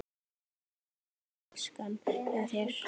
Hvað kostar flaskan hjá þér?